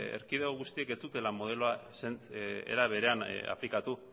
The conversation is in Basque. erkidego guztiek zutela modeloa era berean aplikatu